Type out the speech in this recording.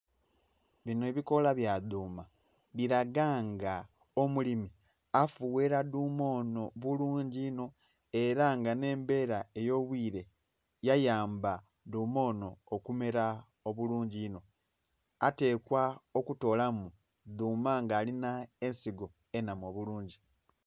Binho ebikola ebya dhuma biraga nga omulimi afughera dhuma onho bulungi inho era nga nhembera eyobwire yayamba dhuma onho okumera obulungi inho atekwa okutolamu dhuma nga alinha ensigo enhamu obulungi.